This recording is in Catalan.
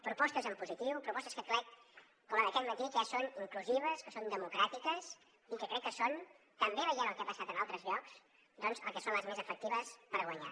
propostes en positiu propostes que crec com la d’aquest matí que són inclusives que són democràtiques i que crec que són també veient el que ha passat en altres llocs doncs les més efectives per guanyar